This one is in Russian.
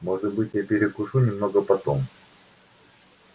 может быть я перекушу немного потом